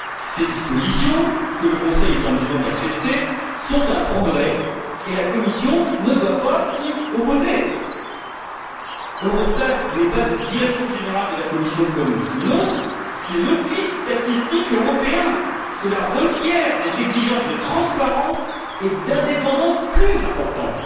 Ces dispositions que le Conseil est en mesure d'accepter constituent un progrès et la Commission ne doit pas s'y opposer. Eurostat n'est pas une direction générale de la Commission comme une autre, c'est l'Office statistique européen, lequel requiert des exigences de transparence et d'indépendance plus importantes.